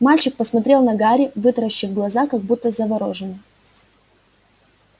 мальчик посмотрел на гарри вытаращив глаза как будто заворожённый